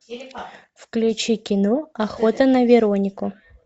включи кино охота на веронику